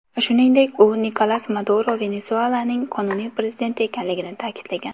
Shuningdek, u Nikolas Maduro Venesuelaning qonuniy prezidenti ekanligini ta’kidlagan.